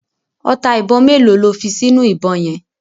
Ọta ìbọn mélòó lo fi sínú ìbọn yẹn.